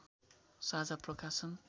साझा प्रकाशन